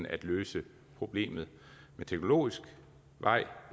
at løse problemet ad teknologisk vej